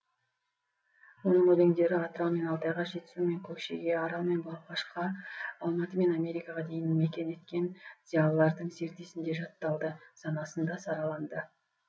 оның өлеңдері атырау мен алтайға жетісу мен көкшеге арал мен балқашқа алматы мен америкаға дейін мекен еткен зиялылардың зердесінде жатталды санасында сараланды